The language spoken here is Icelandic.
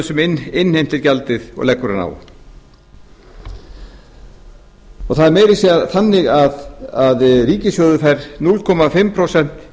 sem innheimtir gjaldið og leggur það á það er meira að segja þannig að ríkissjóður fær hálft prósent